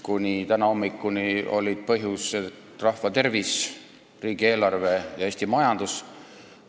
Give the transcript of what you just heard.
Kuni tänase hommikuni olid põhjused rahva tervis, riigieelarve ja Eesti majandus.